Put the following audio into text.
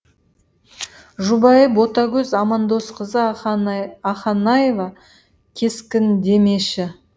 жұбайы ботагөз амандосқызы ақанаева кескіндемеші